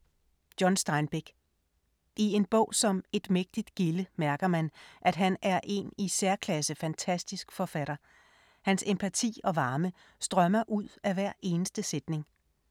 John Steinbeck. I en bog som Et mægtigt gilde mærker man, at han er en i særklasse fantastisk forfatter. Hans empati og varme strømmer ud af hver eneste sætning.